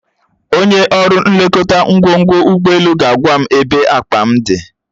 Onye nlekọta ngwongwo ụgbọelu ga-agwa m ebe akpa m dị